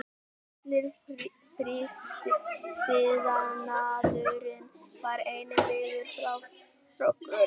Allur frystiiðnaðurinn var einnig byggður upp frá grunni.